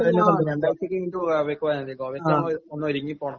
ഗോവക്ക് പോയാൽ മതി. ഗോവയിൽ തന്നെ ഒന്ന് ഒരുങ്ങി പോകണം.